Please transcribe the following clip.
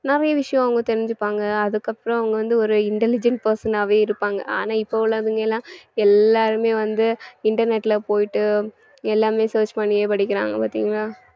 நிறைய விஷயம் அவங்க தெரிஞ்சுப்பாங்க அதுக்கப்புறம் அவங்க வந்து ஒரு intelligent person ஆவே இருப்பாங்க ஆனா இப்ப உள்ளவங்கலாம் எல்லாருமே வந்து internet ல போயிட்டு எல்லாமே search பண்ணியே படிக்கறாங்க பாத்தீங்களா